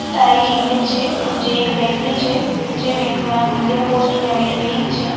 આ એક ઈમેજ છે જે એક બેંક ની છે જે બેંક નું નામ ઈન્ડિયા પોસ્ટ પેમેન્ટ બેંક છે.